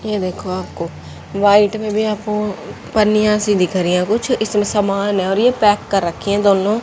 ये देखो आपको व्हाइट में भी आपको पन्निया सी दिख रही हैं कुछ इसमें समान हैं और ये पैक कर रखी हैं दोनों --